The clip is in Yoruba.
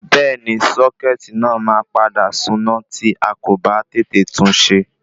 Bẹ́ẹ̀ni sọ́kẹ́tì náà ma padà suná tí akò ba tètè tunṣe